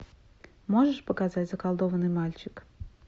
можешь показать заколдованный мальчик